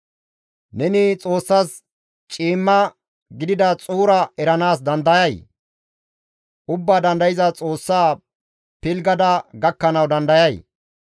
«Neni Xoossas ciimma gidida xuura eranaas dandayay? Ubbaa Dandayza Xoossa pilggada gakkanawu dandayay?